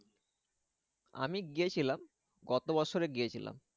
আমি গিয়েছিলাম গত বছরে গিয়েছিলাম।